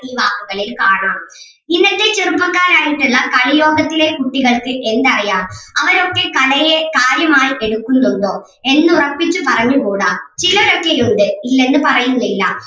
ഈ വാക്കുകളിൽ കാണാം ഇന്നത്തെ ചെറുപ്പക്കാരായിട്ടെല്ലാം കളിയോട്ടത്തിലെ കുട്ടികൾക്ക് എന്തറിയാം അവരൊക്കെ കലയെ കാര്യമായി എടുക്കുന്നുണ്ടോ എന്ന് ഒറപ്പിച്ച് പറഞ്ഞുകൂടാ ചിലരൊക്കെയുണ്ട് ഇല്ലെന്ന് പറയുന്നില്ല.